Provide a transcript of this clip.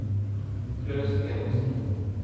Klaus Enoksen